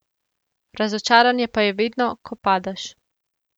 Razočaranje pa je vedno, ko padeš.